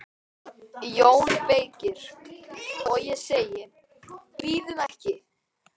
JÓN BEYKIR: Og ég segi: Bíðum ekki!